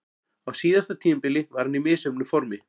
Á síðasta tímabili var hann í misjöfnu formi.